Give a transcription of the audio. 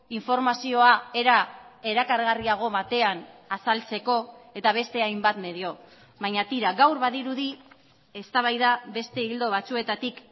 informazioa era erakargarriago batean azaltzeko eta beste hainbat medio baina tira gaur badirudi eztabaida beste ildo batzuetatik